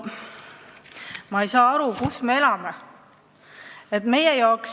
Ma ei saa aru, kus me elame!